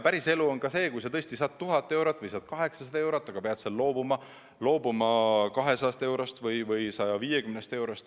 Päris elu on see, et kui sa tõesti saad palka 1000 eurot või 800 eurot, siis pead sa loobuma 200 eurost või 150 eurost.